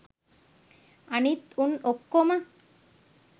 අනිත් උන් ඔක්කොම